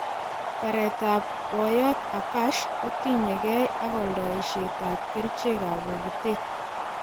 Bareet ab boyot Akash kutinyegei ak oldoisiet ab kericheg ab bogitet.